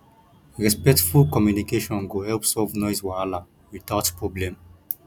respectful communication go help solve noise wahala without problem